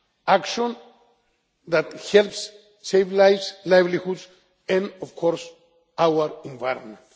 Action that helps save lives, livelihoods and of course our environment.